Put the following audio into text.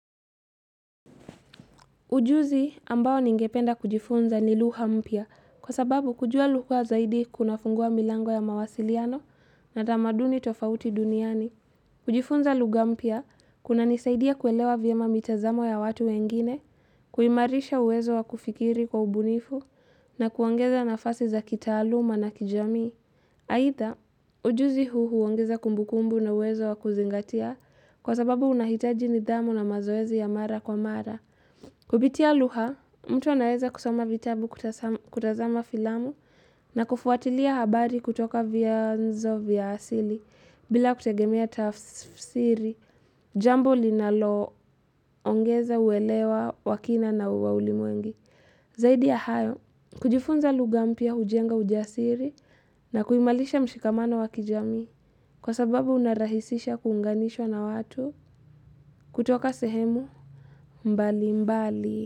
Ujuzi ambao ningependa kujifunza ni lugha mpya kwa sababu kujua lugha zaidi kunafungua milango ya mawasiliano na tamaduni tofauti duniani. Kujifunza lugha mpya kunanisaidia kuelewa vyema mitazamo ya watu wengine, kuimarisha uwezo wa kufikiri kwa ubunifu na kuongeza nafasi za kitaaluma na kijamii. Aitha, ujuzi huu huongeza kumbukumbu na uwezo wa kuzingatia kwa sababu unahitaji nidhamu na mazoezi ya mara kwa mara. Kupitia lugha, mtu anaeza kusoma vitabu kutazama filamu na kufuatilia habari kutoka vyanzo vya asili bila kutegemia tafsiri, jambo linaloongeza uwelewa wa kina na wa ulimwengu. Zaidi ya hayo, kujifunza lugha mpya hujenga ujiasiri na kuimalisha mshikamano wa kijamii kwa sababu unarahisisha kuunganishwa na watu kutoka sehemu mbali mbali.